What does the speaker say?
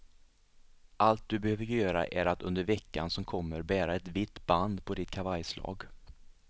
Allt du behöver göra är att under veckan som kommer bära ett vitt band på ditt kavajslag.